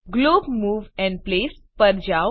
globe move and place પર જાઓ